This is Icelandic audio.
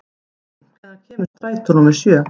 Eiðný, hvenær kemur strætó númer sjö?